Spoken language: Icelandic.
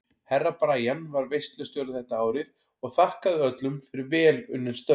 Herra Brian var veislustjóri þetta árið og þakkaði öllum fyrir vel unnin störf.